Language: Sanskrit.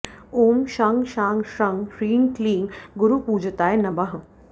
ॐ शं शां षं ह्रीं क्लीं गुरुपूजिताय नमः